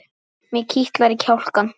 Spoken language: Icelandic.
Mig kitlar í kjálkann.